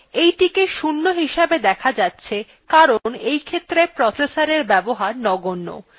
এইটিকে 0 হিসেবে দেখা যাচ্ছে কারণ এইক্ষেত্রে processorএর ব্যবহার নগন্য